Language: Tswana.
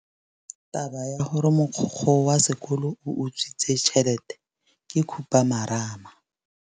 Taba ya gore mogokgo wa sekolo o utswitse tšhelete ke khupamarama.